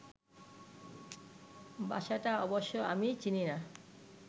বাসাটা অবশ্য আমি চিনি না